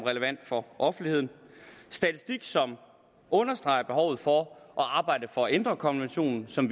for offentligheden statistik som understreger behovet for at arbejde for at ændre konventionen som